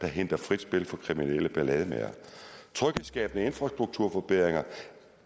hindrer frit spil fra kriminelle ballademagere tryghedsskabende infrastrukturforbedringer